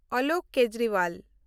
Alok Kejriwal